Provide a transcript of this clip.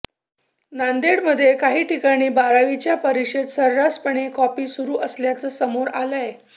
नांदेडमध्ये काही ठिकाणी बारावीच्या परीक्षेत सर्रासपणे कॉपी सुरु असल्याचं समोर आलयं